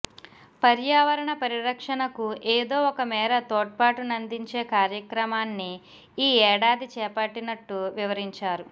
పర్యావరణ పరిరక్షణకు ఏదోఒకమేర తోడ్పాటునందించే కార్యక్రమాన్ని ఈ ఏడాది చేపట్టినట్టు వివరించారు